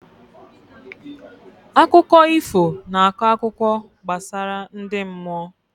Akụkọ ifo na akọ akụkọ gbasara ndị mmụọ